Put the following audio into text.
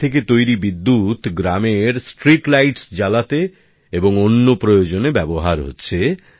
এর থেকে তৈরি বিদ্যুৎ গ্রামের পথবাতি জ্বালাতে এবং অন্য প্রয়োজনে ব্যবহার হচ্ছে